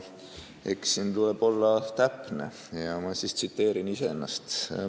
Siin tuleb olla täpne ja ma tsiteerin iseennast.